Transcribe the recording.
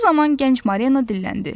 Bu zaman gənc Mareana dilləndi.